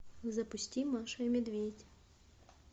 запусти маша и медведь